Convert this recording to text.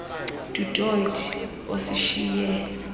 du toit osishiye